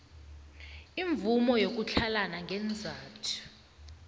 imvumo yokutlhalana ngeenzathu